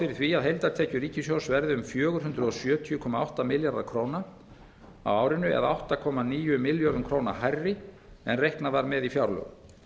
fyrir að heildartekjur ríkissjóðs verði um fjögur hundruð sjötíu komma átta milljarðar króna á árinu það er átta komma níu milljörðum króna hærri en reiknað var með í fjárlögum